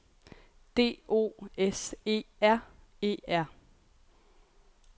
D O S E R E R